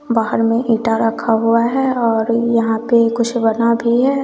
बाहर में इंटा रखा हुआ है और यहां पे कुछ बना भी है।